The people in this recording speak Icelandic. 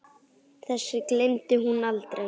Þessu gleymdi hún aldrei.